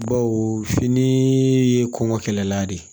Baw fini ye kɔnkɔla de ye